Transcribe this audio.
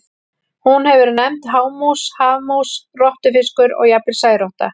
Hún hefur verið nefnd hámús, hafmús, rottufiskur og jafnvel særotta.